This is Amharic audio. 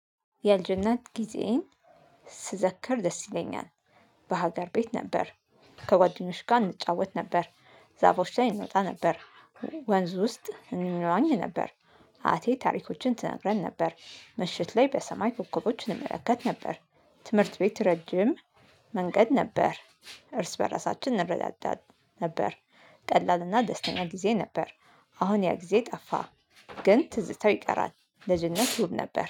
የልጅነት ጊዜዬን ስዘከር ደስ ይለኛል። በሀገር ቤት ነበር። ከጓደኞች ጋር እንጫወት ነበር። ዛፎች ላይ እንወጣ ነበር። ወንዝ ውስጥ እንዋኝ ነበር። አያቴ ታሪኮችን ትነግረን ነበር። ምሽት ላይ በሰማይ ኮከቦች እንመለከት ነበር። ትምህርት ቤት ረጅም መንገድ ነበር። እርስ በራሳችን እንረዳዳ ነበር። ቀላልና ደስተኛ ጊዜ ነበር። አሁን ያ ጊዜ ጠፋ ግን ትዝታው ይቀራል። ልጅነት ውብ ነበር